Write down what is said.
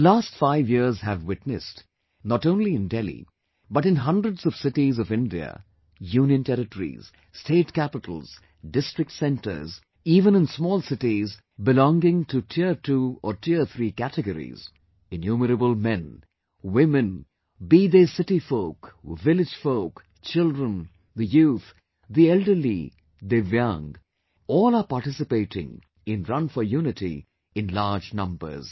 The last five years have witnessed not only in Delhi but in hundreds of cities of India, union territories, state capitals, district centres, even in small cities belonging to tier two or tier three categories, innumerable men, women, be they the city folk, village folk, children, the youth, the elderly, divyang, all are participating in'Run for Unity'in large numbers